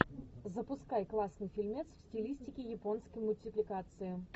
запускай классный фильмец в стилистике японской мультипликации